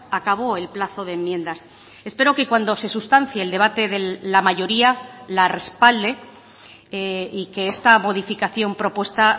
acabó el plazo de enmiendas espero que cuando se sustancie el debate de la mayoría la respalde y que esta modificación propuesta